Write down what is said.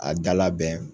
A da labɛn